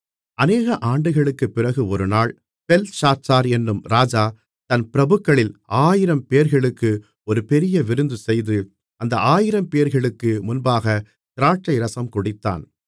அனேக ஆண்டுகளுக்கு பிறகு ஒரு நாள் பெல்ஷாத்சார் என்னும் ராஜா தன் பிரபுக்களில் 1000 பேர்களுக்கு ஒரு பெரிய விருந்துசெய்து அந்த ஆயிரம்பேர்களுக்கு முன்பாகத் திராட்சைரசம் குடித்தான்